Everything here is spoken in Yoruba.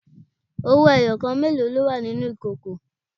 Owó ẹyọ kan mélòó ló wà nínú ìkòkò?